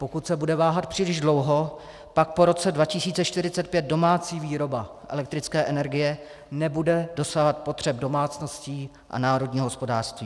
Pokud se bude váhat příliš dlouho, pak po roce 2045 domácí výroba elektrické energie nebude dosahovat potřeb domácností a národního hospodářství.